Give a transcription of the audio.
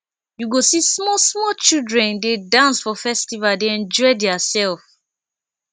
you go see small small children dey dance for festival dey enjoy their self